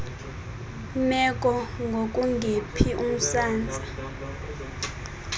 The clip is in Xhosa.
meko ngokungephi umsantsa